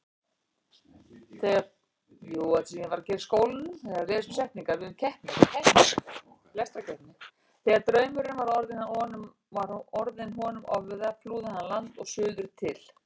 Þegar draumurinn var orðinn honum ofviða flúði hann land og suður til